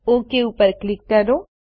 okay પર click કરો